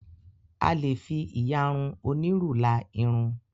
A lè fi ìyarun onírù la irun.